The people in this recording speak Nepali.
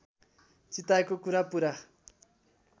चिताएको कुरा पूरा